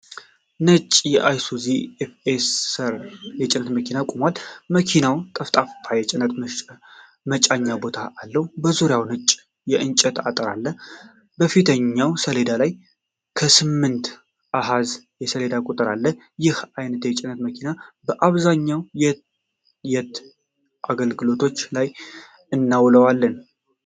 ነጭ አይሱዙ ኤፍ ኤስ አር የጭነት መኪና ቆሟል። መኪናው ጠፍጣፋ የጭነት መጫኛ ቦታ አለው፤ በዙሪያው ነጭ የእንጨት አጥር አለ። በፊተኛው ሰሌዳ ላይ የስምንት አሃዝ የሰሌዳ ቁጥር አለ። ይህን አይነት የጭነት መኪና በአብዛኛው የት የት አገልግሎቶች ላይ እናየዋለን?